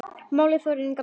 Málið þolir enga bið.